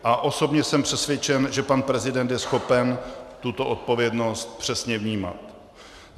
A osobně jsem přesvědčen, že pan prezident je schopen tuto odpovědnost přesně vnímat.